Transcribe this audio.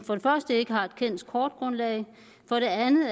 første ikke har et kendt kortgrundlag